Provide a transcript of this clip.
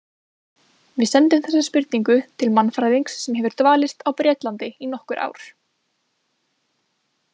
Við sendum þessa spurningu til mannfræðings sem hefur dvalist á Bretlandi í nokkur ár.